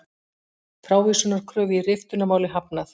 Frávísunarkröfu í riftunarmáli hafnað